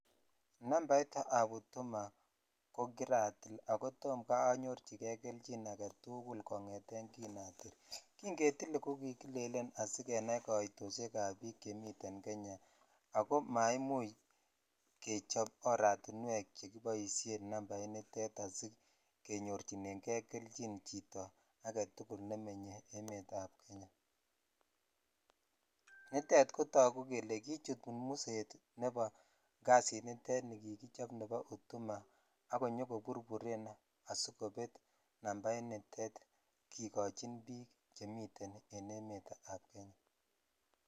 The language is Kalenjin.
Nambait ab huduma ko kiratil ako tom anyorchikei kelchin agatul kongeten kin atil jin ketile ko kikilelen asikenai kaitoshek ab biik chemiet Kenya ako maimuch keboisien oratinwek che kiboshen huduma initet asikenyochinen jei kelchin chito agetukul nemenye emet ab Kenya(puse) nitet kotogu kele kichut musmuset nebo kasiniton nikikichob ni bo huduma ak konyo koburburen sikobet nambainiton kikochin bik chemiten en emet ab Kenya.